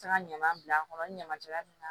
Taga ɲaman bila a kɔnɔ ɲaman jala min na